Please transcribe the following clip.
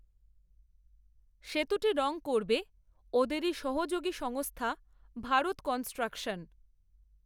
সেতুটি রং করবে, ওদেরই সহযোগী সংস্থা, ভারত কনস্ট্রাকশন